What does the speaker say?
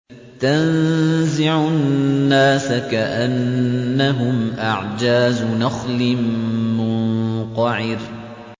تَنزِعُ النَّاسَ كَأَنَّهُمْ أَعْجَازُ نَخْلٍ مُّنقَعِرٍ